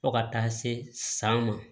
Fo ka taa se san ma